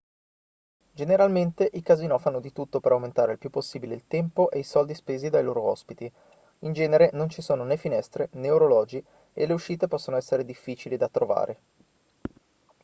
generalmente i casinò fanno di tutto per aumentare il più possibile il tempo e i soldi spesi dai loro ospiti in genere non ci sono né finestre né orologi e le uscite possono essere difficili da trovare